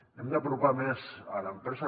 hem d’apropar més a l’empresa